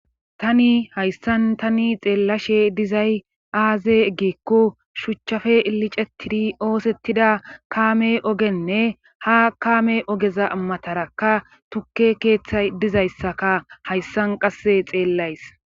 tani hayssan tani xeellashe dizay aaze eggikko shuchchafe ilicetidi oosettida kaame ogenne ha kaame ogeza matarakka tukke keeththay dizayssaka hayssan qasse xeellays